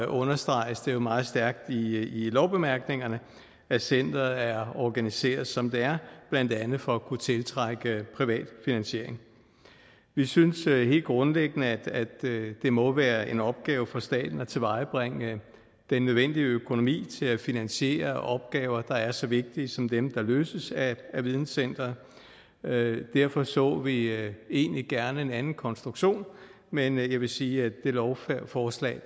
understreges det meget stærkt i lovbemærkningerne at centeret er organiseret som det er blandt andet for at kunne tiltrække privat finansiering vi synes helt grundlæggende at det må være en opgave for staten at tilvejebringe den nødvendige økonomi til at finansiere opgaver der er så vigtige som dem der løses af videncenteret derfor så vi egentlig gerne en anden konstruktion men jeg vil sige at det lovforslag